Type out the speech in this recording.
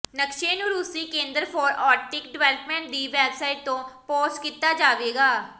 ਨਕਸ਼ੇ ਨੂੰ ਰੂਸੀ ਕੇਂਦਰ ਫਾਰ ਆਰਟਿਕ ਡਿਵੈਲਪਮੈਂਟ ਦੀ ਵੈਬਸਾਈਟ ਤੇ ਪੋਸਟ ਕੀਤਾ ਜਾਵੇਗਾ